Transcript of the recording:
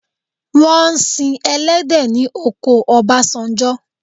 Wọ́n ń si ẹlẹhdẹ̀ ní oko Ọbásanjọ.